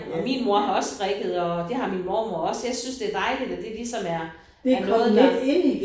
Og min mor har også strikket og det har min mormor også jeg synes det er dejligt at det ligesom er er noget der